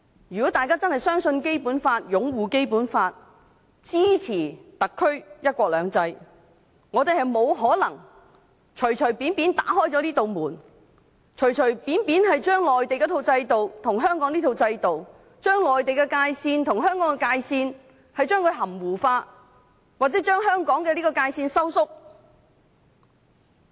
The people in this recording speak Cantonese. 如果大家真正相信《基本法》、擁護《基本法》、支持特區"一國兩制"，我們不可能隨便打開這道門，隨便將內地那一套制度跟香港這套制度，以及將內地界線和香港界線含糊化，或將香港的界線收縮。